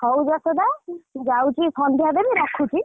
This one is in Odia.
ହଉ ଯଶୋଦା ମୁ ଯାଉଛି ସନ୍ଧ୍ୟା ଦେବି ରଖୁଛି।